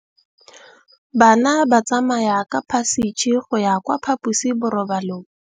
Bana ba tsamaya ka phašitshe go ya kwa phaposiborobalong.